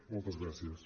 moltes gràcies